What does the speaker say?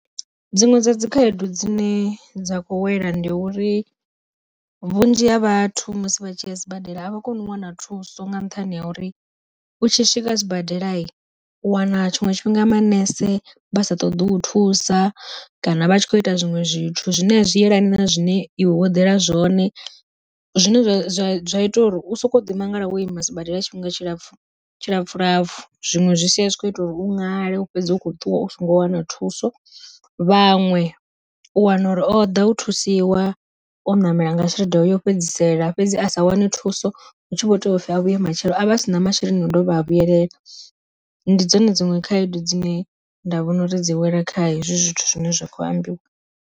Dziṅwe dza dzi khaedu dzine dza khou wela ndi uri, vhunzhi ha vhathu musi vha tshi ya sibadela avha koni u wana thuso nga nṱhani ha uri, u tshi swika sibadela u wana tshiṅwe tshifhinga manese vha sa ṱoḓi u thusa kana vha tshi kho ita zwiṅwe zwithu zwine a zwi yelani na zwine iwe wo yela zwone zwine zwa ita uri u soko ḓi mangala wo ima sibadela tshifhinga tshilapfhu tshilapfhu lapfu zwiṅwe zwi sia zwi kho ita uri u ṅale u fhedze u kho ṱuwa u songo wana thuso. Vhaṅwe u wana uri o ḓa u thusiwa o ṋamela nga tshelede yo fhedzisela, fhedzi a sa wane thuso hu tshi vho tou pfhi a vhuye matshelo a vha a si na masheleni a dovha a vhuyelela, ndi dzone dziṅwe khaedu dzine nda vhona uri dzi wela kha hezwi zwithu zwine zwa khou ambiwa.